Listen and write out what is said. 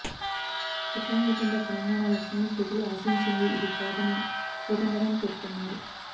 కొత్తగా ఏర్పడ్డ తెలంగాణ రాష్ట్రంలో ప్రజలు ఆశించింది ఇది కాదని కోదండరాం పేర్కొన్నారు